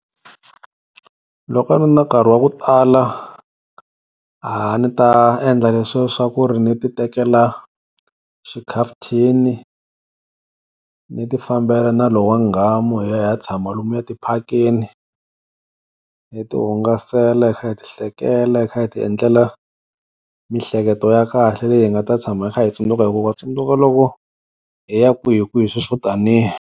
Loko a ni ri na nkarhi wa ku tala a ni ta endla leswiya swa ku ri ni ti tekela xikhafuthini ni ti fambela na lowa nghamu hi ya hi ya tshama lomuya tiphakeni, hi tihungasela hi kha hi ti hlekela hi kha hi ti endlela mihleketo ya kahle leyi hi nga ta tshama hi kha hi yi tsundzuka hi ku wa tsundzuka loko hi ya kwihikwihi sweswo taniya.